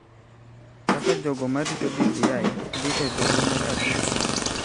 Kaka jogo ma rito BBI dhi e Doho mar Apil sani